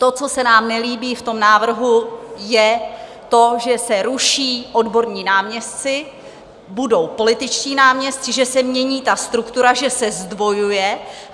To, co se nám nelíbí v tom návrhu, je to, že se ruší odborní náměstci, budou političtí náměstci, že se mění ta struktura, že se zdvojuje.